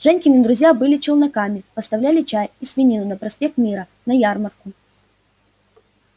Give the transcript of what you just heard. женькины друзья были челноками поставляли чай и свинину на проспект мира на ярмарку